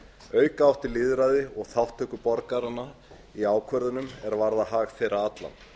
auka átti lýðræði og þátttöku borgaranna í ákvörðunum er varða hag þeirra allra